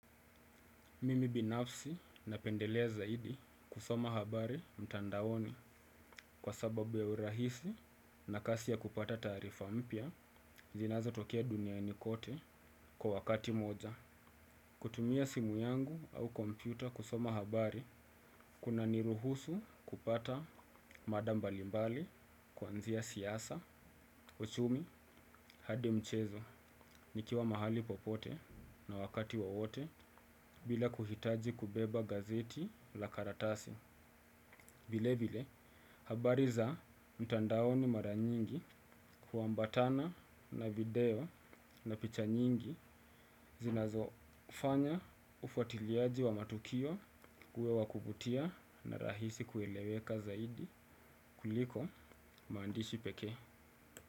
Mimi binafsi napendele zaidi kusoma habari mtandaoni kwa sababu ya urahisi na kasi ya kupata taarifa mpya zinazotokea duniani kote kwa wakati moja. Kutumia simu yangu au kompyuta kusoma habari, kunaniruhusu kupata mada mbalimbali kuanzia siasa. Uchumi, hadi mchezo, nikiwa mahali popote na wakati wowote, bila kuhitaji kubeba gazeti la karatasi. Vile vile, habari za mtandaoni mara nyingi huambatana na video na picha nyingi zinazokufanya ufuatiliaji wa matukio uwe wa kuvutia na rahisi kueleweka zaidi kuliko maandishi pekee.